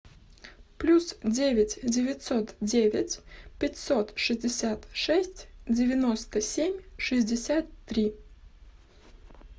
плюс девять девятьсот девять пятьсот шестьдесят шесть девяносто семь шестьдесят три